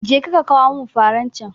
Je ka kawo min faran can